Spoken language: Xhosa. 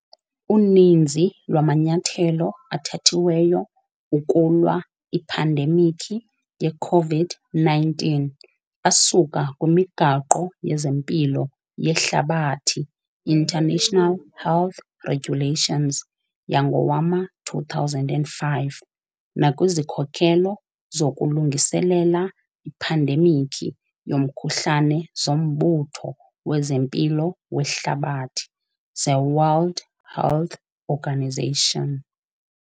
Uninzi lwamanyathelo athathiweyo ukulwa iphandemikhi yeCovid-19 asuka kwiMigaqo yezeMpilo yeHlabathi, International Health Regulations, yangowama-2005 nakwizikhokelo zokulungiselela iphandemikhi yomkhuhlane zoMbutho wezeMpilo weHlabathi, zeWorld Health Organisation.